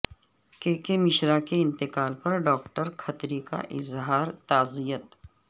کے کے مشرا کے انتقال پر ڈاکٹر کھتری کا اظہار تعزیت